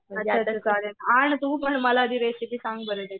आणि तू पण मला आधी रेसिपी सांग बरं त्याची